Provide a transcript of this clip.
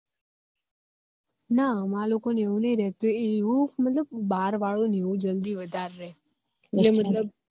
ના અમાર લોકો ને એવું નહી રેહતું એવું બાર વાળા ને વધારે રે